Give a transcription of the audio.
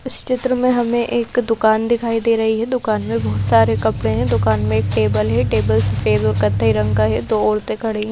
इस चित्र में हमें एक दुकान दिखाई दे रही है दुकान में बहुत सारे कपड़े हैं दुकान में एक टेबल है टेबल सफेद और कत्थई रंग का है दो औरतें खड़ी हैं --